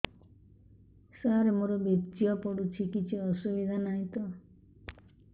ସାର ମୋର ବୀର୍ଯ୍ୟ ପଡୁଛି କିଛି ଅସୁବିଧା ନାହିଁ ତ